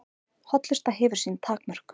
Hollusta hefur sín takmörk